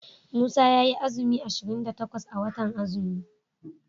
Musa yayi azumi ashirin da takwas a watan azumi.